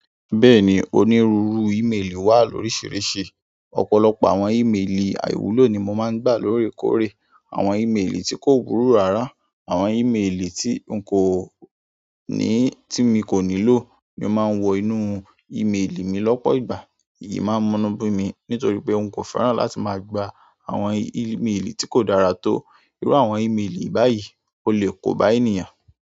Bẹ́ẹ̀ni, onírúurú ímeèlì wà lóríṣiríṣi. Ọ̀pọ̀lọpọ̀ àwọn ímeèlì àìwúlò ni mo máa ń gbà lóòrèkóòrè. Àwọn ímeèlì tí kò wúlò ràrá, àwọn ímeèlì tí n kò ní, tí mi kò nílò ni o máa ń wọ inú ímeèlì mi lọ́pọ̀ ìgbà. Èyí máa ń munún bi mi nítorí pé un kò fẹ́ràn láti máa gba àwọn ímeèlì tí kò dára tó. Irú àwọn ímeèlì báyìí o le kóba ènìyàn.